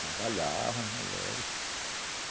Trabalhavam as mulheres.